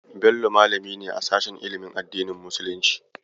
Bello malami ne a sashen ilimin addinin musulunci.